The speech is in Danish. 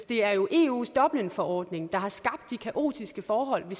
det er jo eus dublinforordning der har skabt de kaotiske forhold vi